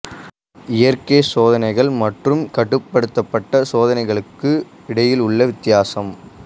இயற்கை சோதனைகள் மற்றும் கட்டுப்படுத்தப்பட்ட சோதனைகளுக்கு இடையில் உள்ள வித்தியாசம்